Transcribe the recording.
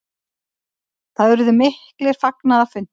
Það urðu miklir fagnaðarfundir.